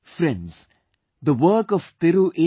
Friends, the work of Thiru A